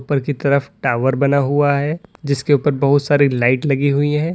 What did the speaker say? ऊपर की तरफ टावर बना हुआ है जिसके ऊपर बहुत सारी लाइट लगी हुई है।